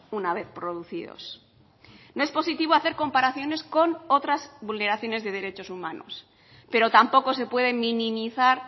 una vez producidos no es positivo hacer comparaciones con otras vulneraciones de derechos humanos pero tampoco se pueden minimizar